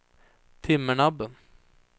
Timmernabben